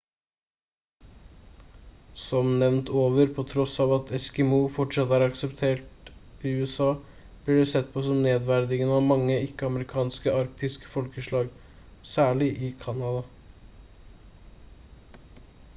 som nevnt over på tross av at «eskimo» fortsatt er akseptabelt i usa blir det sett på som nedverdigende av mange ikke-amerikanske arktiske folkeslag særlig i canada